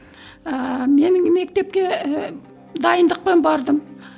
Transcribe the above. ііі менің мектепке і дайындықпен бардым